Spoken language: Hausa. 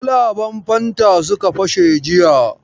Kwalaban fanta suka fashe jiya.